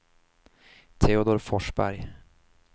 Teodor Forsberg